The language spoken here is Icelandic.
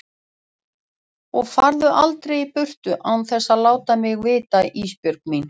Og farðu aldrei í burtu án þess að láta mig vita Ísbjörg mín.